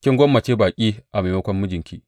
Kin gwammace baƙi a maimakon mijinki!